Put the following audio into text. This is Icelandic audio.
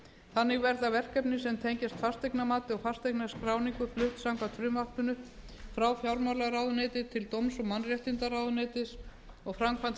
þannig verða verkefni sem tengjast fasteignamati og fasteignaskráningu flutt samkvæmt frumvarpinu frá fjármálaráðuneyti til dómsmála og mannréttindaráðuneytisins og framkvæmd